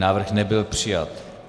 Návrh nebyl přijat.